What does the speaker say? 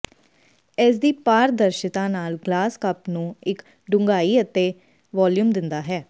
ਇਸਦੀ ਪਾਰਦਰਸ਼ਿਤਾ ਨਾਲ ਗਲਾਸ ਕੱਪ ਨੂੰ ਇੱਕ ਡੂੰਘਾਈ ਅਤੇ ਵਾਲੀਅਮ ਦਿੰਦਾ ਹੈ